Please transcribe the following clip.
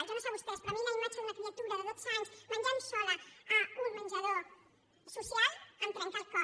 jo no sé a vostès però a mi la imatge d’una criatura de dotze anys menjant sola en un menjador social em trenca el cor